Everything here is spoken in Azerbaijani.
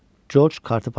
Corc kartı payladı.